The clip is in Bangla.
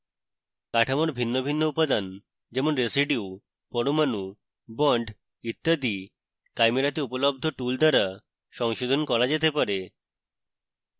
কাঠামোর ভিন্ন ভিন্ন উপাদান যেমন: residues পরমাণু bonds ইত্যাদি chimera তে উপলব্ধ tools দ্বারা সংশোধন করা যেতে পারে